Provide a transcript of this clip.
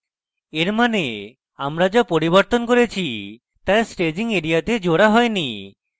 এর means হল আমরা যা পরিবর্তন করেছি তা staging এরিয়াযে জোড়া হয়নি